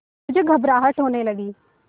मुझे घबराहट होने लगी